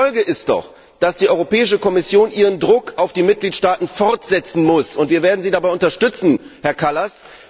Die Folge ist doch, dass die Europäische Kommission ihren Druck auf die Mitgliedstaaten fortsetzen muss, und wir werden Sie dabei unterstützen, Herr Kallas.